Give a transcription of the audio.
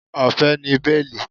Ọ̀fẹ́ ni béèlì